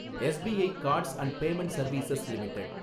SBI cards and payment service limited